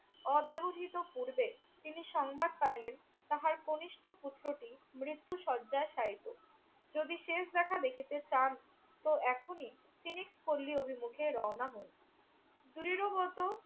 অব্যবহিত পূর্বে তিনি সংবাদ পাইলেন তাহার কণিষ্ঠ পুত্রটি মৃত্যু শয্যায় শায়িত। যদি শেষ দেখা দেখিতে চান তো এখনই তিনি পল্লী অভিমুখে রওনা হউন। দৃঢ়গত